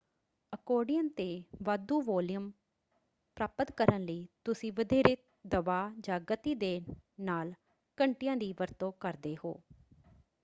Accordion ‘ਤੇ ਵਾਧੂ volume ਪ੍ਰਾਪਤ ਕਰਨ ਲਈ ਤੁਸੀਂ ਵਧੇਰੇ ਦਬਾਅ ਜਾਂ ਗਤੀ ਦੇ ਨਾਲ ਘੰਟੀਆਂ ਦੀ ਵਰਤੋਂ ਕਰਦੇ ਹੋ।